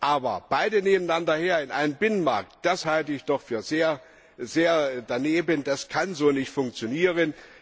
Aber beide nebeneinander her in einem Binnenmarkt, das halte ich doch für sehr daneben, das kann so nicht funktionieren.